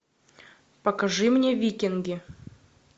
покажи мне викинги